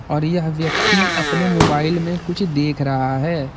और यह व्यक्ति अपने मोबाइल में कुछ देख रहा है।